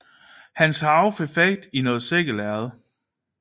Hans harve fik fat i noget sækkelærred